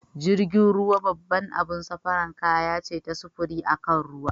Jirgin ruwa babbar abun safara kaya ce ta sufuri akan ruwa.